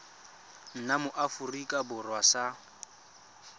nna mo aforika borwa sa